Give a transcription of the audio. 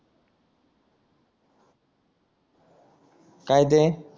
काय ते